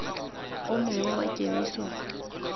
o mongwe wa kemiso fa